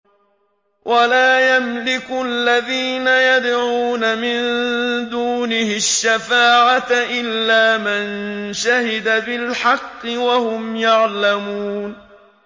وَلَا يَمْلِكُ الَّذِينَ يَدْعُونَ مِن دُونِهِ الشَّفَاعَةَ إِلَّا مَن شَهِدَ بِالْحَقِّ وَهُمْ يَعْلَمُونَ